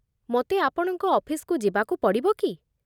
ମୋତେ ଆପଣଙ୍କ ଅଫିସକୁ ଯିବାକୁ ପଡ଼ିବ କି?